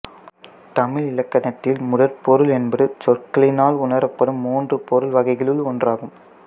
தமிழ் இலக்கணத்தில் முதற்பொருள் என்பது சொற்களினால் உணரப்படும் மூன்று பொருள் வகைகளுள் ஒன்றாகும்